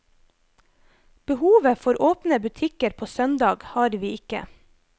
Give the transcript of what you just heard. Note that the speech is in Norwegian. Behovet for åpne butikker på søndag har vi ikke.